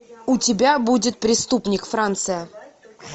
у тебя будет преступник франция